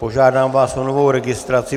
Požádám vás o novou registraci.